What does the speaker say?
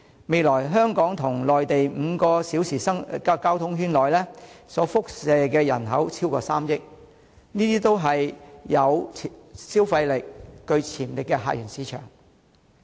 未來，香港與內地5小時交通圈所輻射的人口超過3億，這些也是有消費力、具潛力的客源市場。